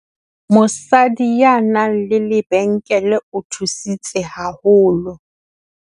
Mosadi ya nang le lebenkele o thusitse haholo.